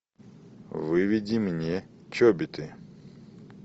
выведи мне чобиты